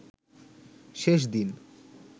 শেষ দিন